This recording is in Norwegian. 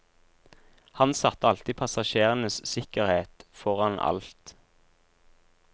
Han satte alltid passasjerenes sikkerhet foran alt.